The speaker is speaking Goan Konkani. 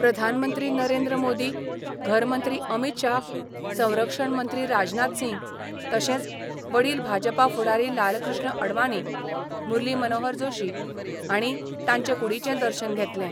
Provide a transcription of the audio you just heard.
प्रधानमंत्री नरेंद्र मोदी, घरमंत्री अमित शाह, संरक्षण मंत्री राजनाथ सिंग, तशेंच वडील भाजपा फुडारी लालकृष्ण अडवाणी, मुरली मनोहर जोशी हांणी तांचे कुडीचें दर्शन घेतलें.